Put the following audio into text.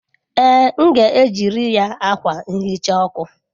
Ee, m ga-ejiri ya akwa nhicha ọkụ.